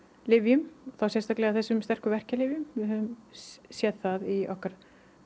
lyfjum og þá sérstaklega á þessum sterku verkjalyfjum við höfum séð það í okkar